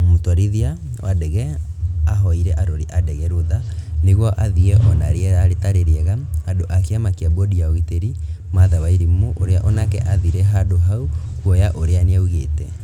Mũtwarithia wa ndege ahoire arori a ndege rũtha nĩguo athiĩ ona rĩera rĩtarĩ rĩega Andu a kiama kĩa bodi ya ũgitĩri matha wairimũ ũrĩa onake athire handũ hau kuoya ũira nĩaugĩte